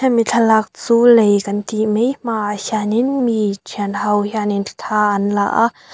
hemi thlalâk chu lei kan tih mai hmaah hianin mi ṭhianho hianin thla an la a.